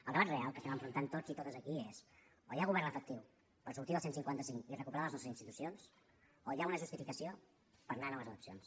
el debat real que estem enfrontant tots i totes aquí és o hi ha govern efectiu per sortir del cent i cinquanta cinc i recuperar les nostres institucions o hi ha una justificació per anar a noves eleccions